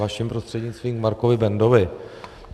Vaším prostřednictvím Markovi Bendovi.